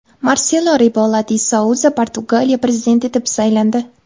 Marselo Rebelo di Souza Portugaliya prezidenti etib saylandi.